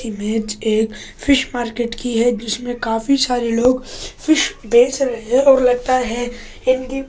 image एक fish market की है जिसमे काफ़ी सारे लोग फ़िश बेच रहे है और लगता है इसकी --